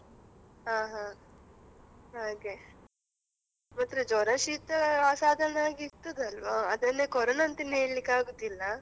ಹಾ ಹಾ ಹಾಗೆ ಮಾತ್ರ ಜ್ವರ ಶೀತ ಆ ಸಾಧಾರಣವಾಗಿ ಇರ್ತದಲ್ವಾ, ಅದನ್ನೆ ಕೊರೋನಾ ಅಂತೇನು ಹೇಳ್ಲಿಕ್ಕಾಗೋದಿಲ್ಲ.